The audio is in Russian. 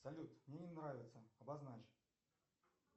салют мне не нравится обозначь